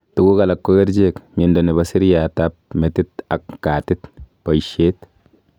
Tuguk alak ko kercheek ,miondo nebo seriat ap metit ak keatit, baishet